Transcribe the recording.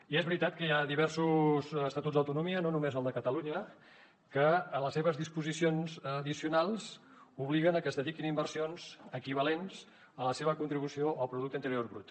i és veritat que hi ha diversos estatuts d’autonomia no només el de catalunya que en les seves disposicions addicionals obliguen a que es dediquin inversions equivalents a la seva contribució al producte interior brut